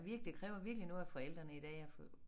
Virk det kræver virkelig noget af forældrene i dag at få